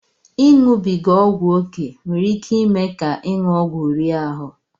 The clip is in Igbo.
Ịṅụbiga ọgwụ ókè nwere iké ime ka ịṅụ ọgwụ rie ahụ